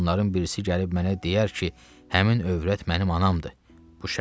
Onların birisi gəlib mənə deyər ki, həmin övrət mənim anamdı.